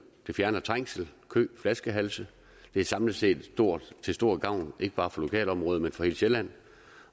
det fjerner trængsel kø flaskehalse det er samlet set til stor gavn ikke bare for lokalområdet men for hele sjælland